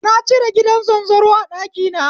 Na cire gidan zanzaro a ɗakina